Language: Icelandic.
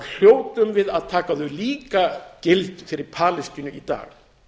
hljótum við að taka þau líka gild fyrir palestínu í dag